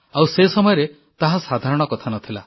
ଆଉ ସେ ସମୟରେ ତାହା ସାଧାରଣ କଥା ନ ଥିଲା